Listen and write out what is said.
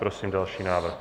Prosím další návrh.